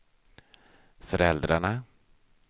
föräldrarna